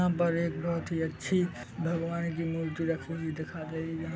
यहाँ पर एक बहोत ही अच्छी भगवान की मूर्ति रखी हुई दिखाई दे रही है जहाँ--